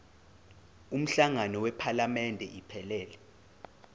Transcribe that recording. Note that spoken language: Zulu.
umhlangano wephalamende iphelele